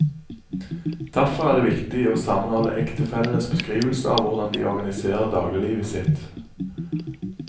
Derfor er det viktig å sammenholde ektefellenes beskrivelser av hvordan de organiserer dagliglivet sitt.